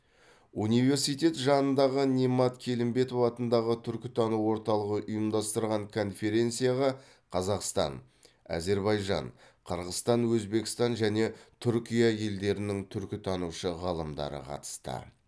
университет жанындағы немат келімбетов атындағы түркітану орталығы ұйымдастырған конференцияға қазақстан әзербайжан қырғызстан өзбекстан және түркия елдерінің түркітанушы ғалымдары қатысты